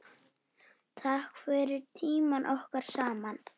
Takk fyrir tímann okkar saman.